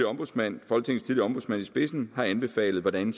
ombudsmand i spidsen har anbefalet hvordan